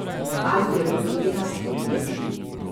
Alfi je bil penast od jeze.